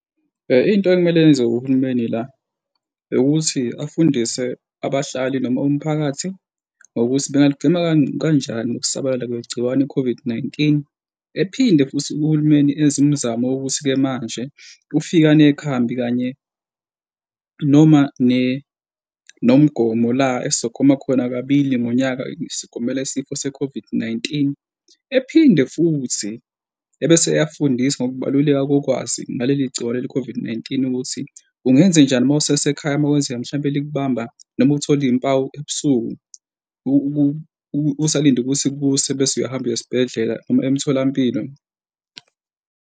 Into ekumele yenziwe uhulumeni la eyokuthi afundise abahlali noma umphakathi ngokuthi bengaligwema kanjani ukusabalala kwegciwane i-COVID-19. Ephinde futhi uhulumeni enze imizamo yokuthi-ke manje ufika nekhambi kanye noma nomgomo la esizogoma khona kabili ngonyaka sigomela isifo se-COVID-19. Ephinde futhi ebese eyafundisa ngokubaluleka kokwazi ngaleli gciwane le-COVID-19 ukuthi ungenzenjani uma usesekhaya uma kwenzeka mhlawumpe likubamba noma uthole iy'mpawu ebusuku usalinde ukuthi kuse bese uyahamba uye esibhedlela noma emtholampilo.